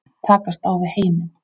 Takast á við heiminn.